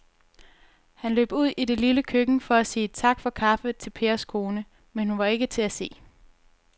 Han løb ud i det lille køkken for at sige tak for kaffe til Pers kone, men hun var ikke til at se.